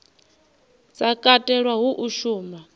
sa katelwa hu a shuma